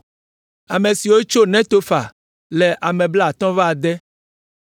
Ame siwo tso Netofa le ame blaatɔ̃-vɔ-ade (56).